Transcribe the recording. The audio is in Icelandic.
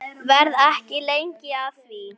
Verð ekki lengi að því.